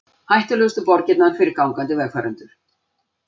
Hættulegustu borgirnar fyrir gangandi vegfarendur